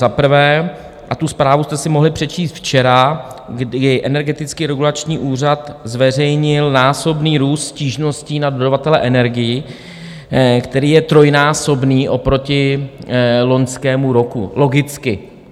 Za prvé, a tu zprávu jste si mohli přečíst včera, kdy Energetický regulační úřad zveřejnil násobný růst stížností na dodavatele energií, který je trojnásobný oproti loňskému roku - logicky.